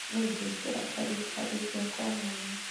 Ni ngwikira tari tari ciakwa ũmũthĩ.